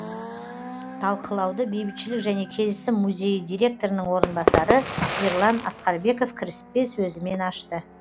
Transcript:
талқылауды бейбітшілік және келісім музейі директорының орынбасары ерлан асқарбеков кіріспе сөзімен ашты